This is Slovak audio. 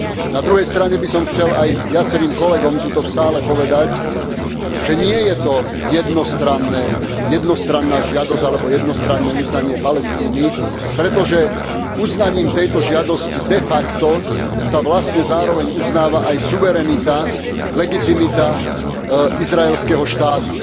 Na druhej strane by som chcel aj viacerým kolegom tu v sále povedať, že nie je to jednostranná žiadosť alebo jednostranné uznanie Palestíny, pretože uznaním tejto žiadosti de facto sa vlastne zároveň uznáva aj suverenita, legitimita izraelského štátu.